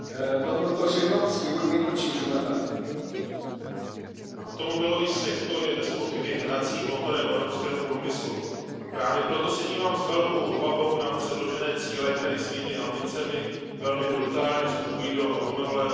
Pane předsedající, automobilový sektor je bezpochyby hnacím motorem evropského průmyslu. Právě proto se dívám s velkou obavou na předložené cíle, které svými ambicemi velmi brutálně vstupují do automobilového trhu.